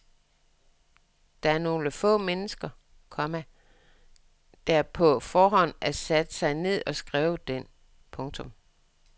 Det er nogle få mennesker, komma der på forhånd har sat sig ned og skrevet den. punktum